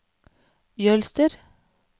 Jølster